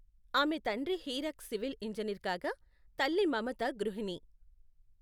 ఆమె తండ్రి Hirak civil engineer కాగా, తల్లి మమత గృహిణి.